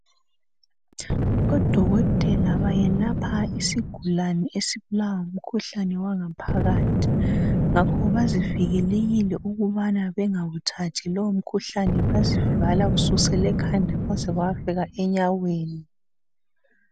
Odokotela bayelapha isigulane esibulawa ngumkhuhlane wangaphakathi ngakho bazivikelekile ukubana bengawuthathi lowo mkhuhlane bezivala kusukela ekhanda kwaze kwayafika enyaweni.